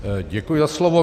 Děkuji za slovo.